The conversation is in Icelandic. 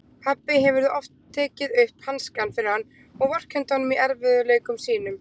Pabbi hefur oft tekið upp hanskann fyrir hann og vorkennt honum í erfiðleikum sínum.